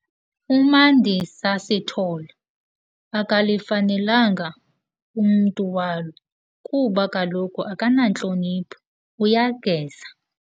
UMandisa Sithole, akalifanelanga umntu walo kuba kaloku akanantlonipho, uyageza.